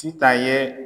Sitan ye